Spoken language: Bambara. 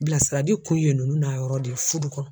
Bilasirali kun ye ninnu n'a yɔrɔ de ye fudu kɔnɔ.